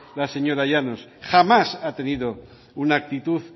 la señora llanos jamás ha tenido una actitud